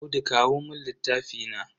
Audu kawo mun littafi na.